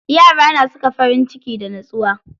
Yara na saka farinciki da nutsuwa.